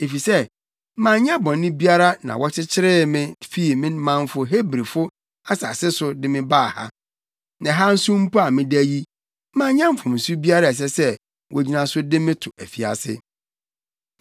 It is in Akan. Efisɛ manyɛ bɔne biara na wɔkyeree me fii me manfo Hebrifo asase so de me baa ha. Na ɛha nso mpo a meda yi, manyɛ mfomso biara a ɛsɛ sɛ wogyina so de me to afiase.”